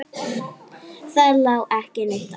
Það lá ekki neitt á.